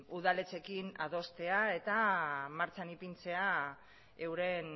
udaletxeekin adostea eta martxan ipintzea euren